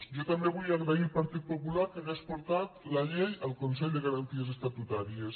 jo també vull agrair al partit popular que hagués portat la llei al consell de garanties estatutàries